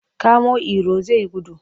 Kamo Iro zai gudu!